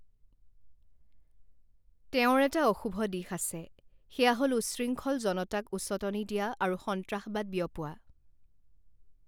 তেওঁৰ এটা অশুভ দিশ আছে, সেয়া হ'ল উচ্ছৃংখল জনতাক উচটনি দিয়া আৰু সন্ত্ৰাসবাদ বিয়পোৱা।